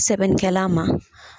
Sɛbɛnikɛla ma.